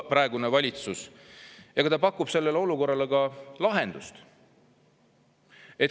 Ja pakub sellele olukorrale lahendust.